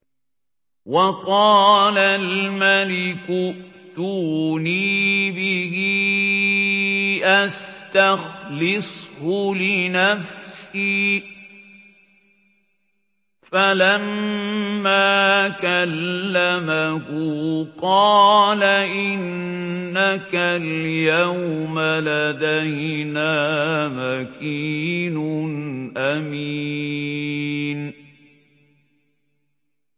وَقَالَ الْمَلِكُ ائْتُونِي بِهِ أَسْتَخْلِصْهُ لِنَفْسِي ۖ فَلَمَّا كَلَّمَهُ قَالَ إِنَّكَ الْيَوْمَ لَدَيْنَا مَكِينٌ أَمِينٌ